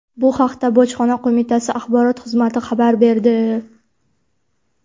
Bu haqda Bojxona qo‘mitasi axborot xizmati xabar berdi.